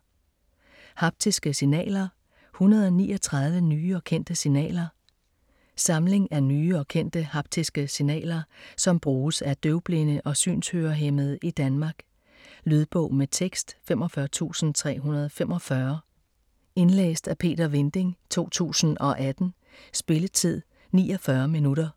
Haptiske signaler: 139 nye og kendte signaler Samling af nye og kendte haptiske signaler, som bruges af døvblinde og synshørehæmmede i Danmark. Lydbog med tekst 45345 Indlæst af Peter Vinding, 2018. Spilletid: 0 timer, 49 minutter.